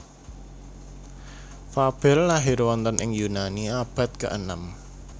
Fabel lahir wonten ing Yunani abad keenem